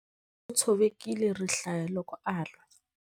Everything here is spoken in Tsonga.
U tshovekile rihlaya loko a lwa.